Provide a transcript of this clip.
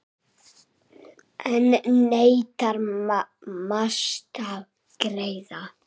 Enn neitar Mast að greiða.